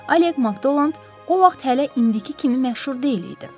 Oleq Makdonland o vaxt hələ indiki kimi məşhur deyil idi.